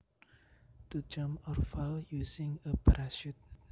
To jump or fall using a parachute